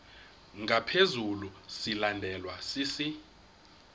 ngaphezu silandelwa sisi